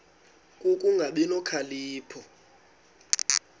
ku kungabi nokhalipho